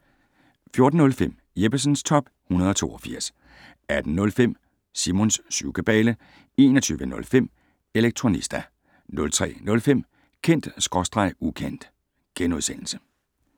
14:05: Jeppesens Top 182 18:05: Simons syvkabale 21:05: Elektronista 03:05: Kendt/Ukendt *